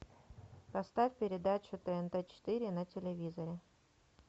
поставь передачу тнт четыре на телевизоре